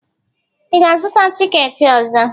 Ị ga-azụta tikeeti ọzọ?